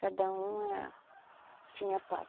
Cada uma tinha pai.